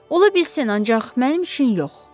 Ola bilsin, ancaq mənim üçün yox.